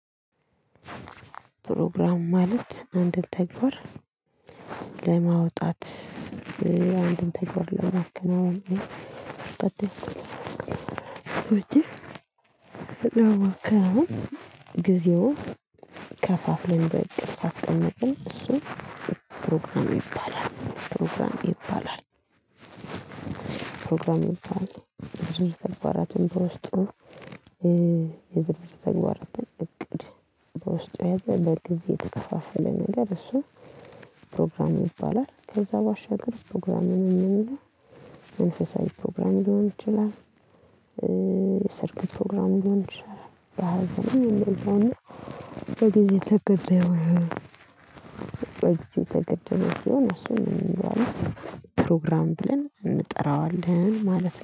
ፕሮግራም ማለት አንድን ተግባር ለማውጣት አንድን ተግባር ለማከናወን ተበቼ ለማከናዎን ጊዜውን ከፋፍለን በእቅድ ካስቀመጠን እሱ ፕሮግራም ይባላል ፕሮግራም ይባላል። ፕሮግራም ይባላል። ብዙ ተግባራትን በውስጡ የዝርዝር ተግባራትን እቅድ በውስጡ የያዘው በጊዜ የተከፋፈለ ነገር እሱ ፕሮግራም ይባላል። ከዛ ባሻገር ፕሮግራም የምንለው መንፈሳዊ ፕሮግራም ሊሆን ይችላል። ሰርግ ፕሮግራም ሊሆን ይሆን በሃያ ዘመን ይሆን። በጊዜ የተገደበ። በጊዜ የተገደበ ሲሆን እሱን ምን እንለዋለን? ፕሮግራም ብለን እንጠራዋለን ማለት ነው